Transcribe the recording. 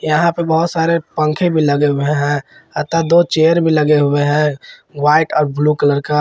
यहां पे बहोत सारे पंखे भी लगे हुए हैं अतः दो चेयर भी लगे हुए हैं व्हाइट और ब्लू कलर का।